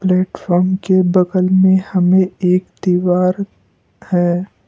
Platform के बगल में हमें एक दीवार है।